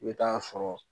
I bɛ taa sɔrɔ